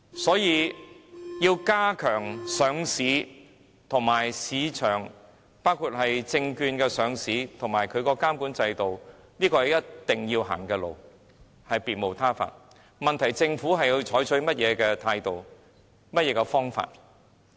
所以，要加強監管上市和市場，包括改善證券上市的監管制度，是一定要走的路，別無他法，問題的癥結在於政府採取甚麼態度、甚麼方法。